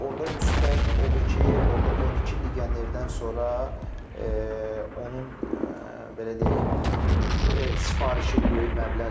Orda müsbət odur ki, orda 12 legionerdən sonra onun belə deyək, sifarişi böyük məbləğdir.